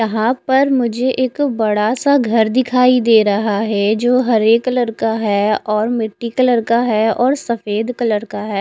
यहा पर मुझे एक बड़ा सा घर दिखाई दे रहा है जो हरे कलर का है और मिट्टी कलर का है और सफेद कलर का है।